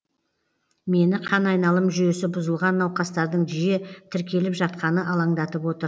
мені қан айналым жүйесі бұзылған науқастардың жиі тіркеліп жатқаны алаңдатып отыр